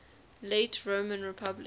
late roman republic